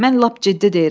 Mən lap ciddi deyirəm.